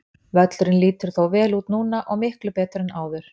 Völlurinn lítur þó vel út núna og miklu betur en áður.